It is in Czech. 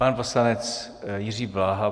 Pan poslanec Jiří Bláha.